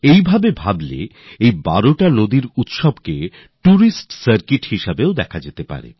এভাবে আপনারা এই ১২টি স্থানের যাত্রাকে একটি টুরিস্ট সার্কিট রূপের করতে পারেন